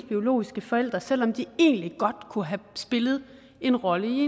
biologiske forældre selv om de egentlig godt kunne have spillet en rolle i